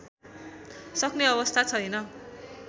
सक्ने अवस्था छैन